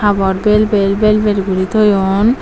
habor belbel belbel guri toyon.